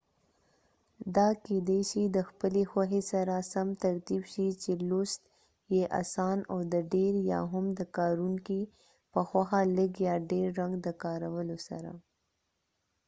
دا کېدای شي د خپلی خوښی سره سم ترتیب شي چې لوست یې اسان او د ډیر یا هم د کاروونکې په خوښه لږ یا ډیر رنګ د کارولو سره